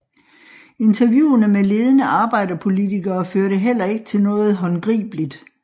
Interviewene med ledende arbejderpartipolitikere førte heller ikke til noget håndgribeligt